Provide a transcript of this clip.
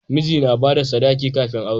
Miji na bada sadaki kafin aure